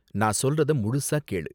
நான் சொல்றத முழுசா கேளு.